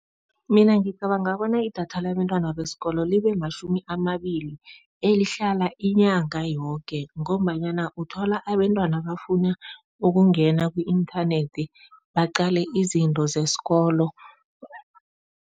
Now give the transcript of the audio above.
Mina ngicabanga bona idatha labentwana besikolo libe matjhumi amabili elihlala inyanga yoke, ngombanyana uthola abentwana bafuna ukungena ku-inthanethi baqale izinto zesikolo.